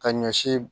Ka ɲɔ si